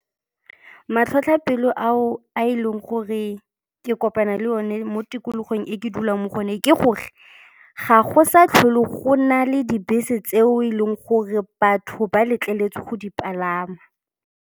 Matlhotlhapelo ao a e leng gore ke kopana le one mo tikologong e ke dulang mo go yone ke gore ga go sa tlholo go na le dibese tseo e leng gore batho ba letleletswe go di palama.